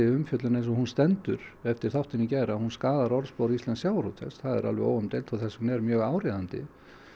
umfjöllun eins og hún stendur eftir þáttinn í gær að hún skaðar orðspor íslensks sjávarútvegs það er alveg óumdeilt og þess vegna er mjög áríðandi